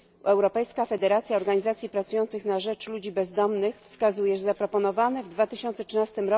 Europejska federacja organizacji pracujących na rzecz ludzi bezdomnych wskazuje, że zaproponowane w 2013